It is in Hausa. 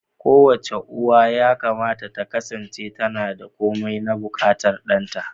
Kowace uwa yakamata ta kasance tana da komai na buƙatar ɗanta.